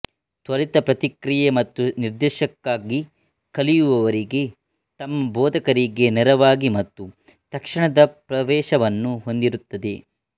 ತ್ವರಿತ ಪ್ರತಿಕ್ರಿಯೆ ಮತ್ತು ನಿರ್ದೇಶನಕ್ಕಾಗಿ ಕಲಿಯುವವರಿಗೆ ತಮ್ಮ ಬೋಧಕರಿಗೆ ನೇರವಾಗಿ ಮತ್ತು ತಕ್ಷಣದ ಪ್ರವೇಶವನ್ನು ಹೊಂದಿರುತ್ತದೆ